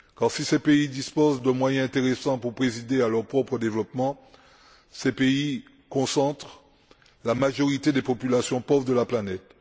Si ces pays disposent de moyens intéressants pour présider à leur propre développement, ces pays concentrent la majorité des populations pauvres de la planète.